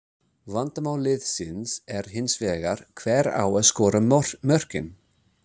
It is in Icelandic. Vandamál liðsins er hins vegar hver á að skora mörkin?